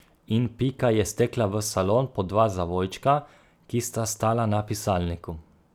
In Pika je stekla v salon po dva zavojčka, ki sta stala na pisalniku.